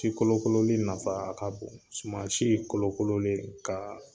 Si kolokololi nafa ka bon sumansi kolokololen ka